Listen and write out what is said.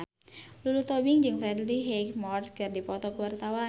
Lulu Tobing jeung Freddie Highmore keur dipoto ku wartawan